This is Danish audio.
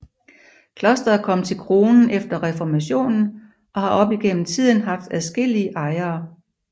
Klosteret kom til kronen efter reformationen og har op igennem tiden haft adskillige ejere